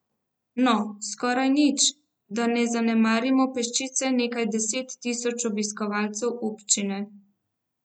No, skoraj nič, da ne zanemarimo peščice nekaj deset tisoč obiskovalcev občine.